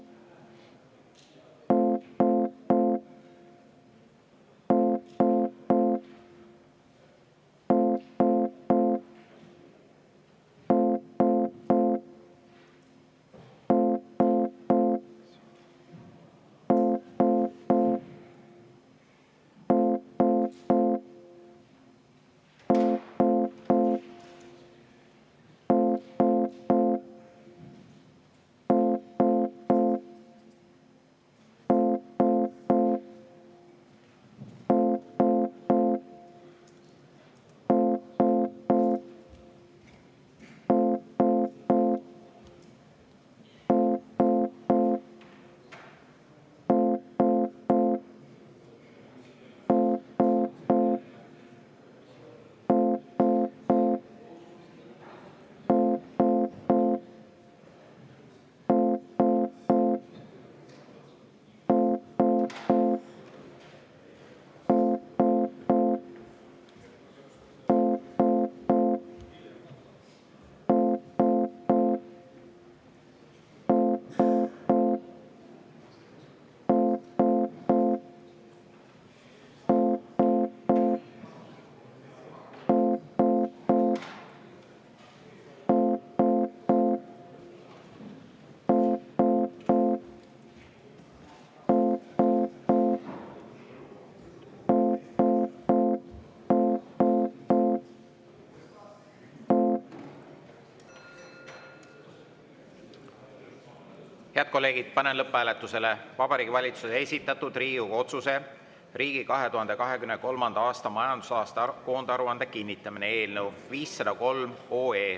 Head kolleegid, panen lõpphääletusele Vabariigi Valitsuse esitatud Riigikogu otsuse "Riigi 2023. aasta majandusaasta koondaruande kinnitamine" eelnõu 503.